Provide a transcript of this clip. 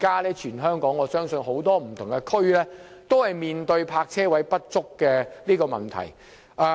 現時本港多區都面對泊車位不足的問題。